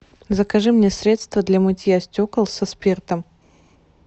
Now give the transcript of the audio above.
закажи мне средство для мытья стекол со спиртом